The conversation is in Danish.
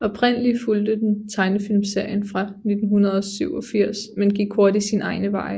Oprindelig fulgte den tegnefilmserien fra 1987 men gik hurtigt sine egne veje